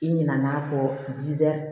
I ɲinɛna'a kɔ jija